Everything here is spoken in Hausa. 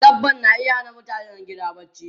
Dabba na iya hana mutanen gida barci.